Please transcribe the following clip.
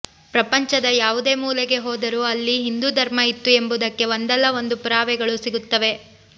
ಪ್ರಪಂಚದ ಯಾವುದೇ ಮೂಲೆಗೆ ಹೋದರೂ ಅಲ್ಲಿ ಹಿಂದೂ ಧರ್ಮ ಇತ್ತು ಎಂಬುದಕ್ಕೆ ಒಂದಲ್ಲ ಒಂದು ಪುರಾವೆಗಳು ಸಿಗುತ್ತವೆ